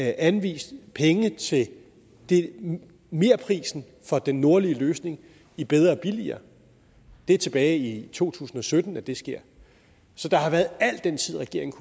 anvist penge til merprisen for den nordlige løsning i bedre og billigere det er tilbage i to tusind og sytten at det sker så der har været al den tid regeringen